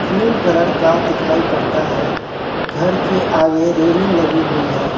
Cream colour का दिखाई पड़ता है घर के आगे रेलिंग लगी हुई है।